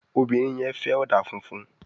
Obìrin yen fè òdà fúnfún